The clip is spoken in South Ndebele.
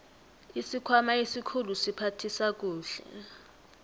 isikhwama esikhulu siphathisa kuhle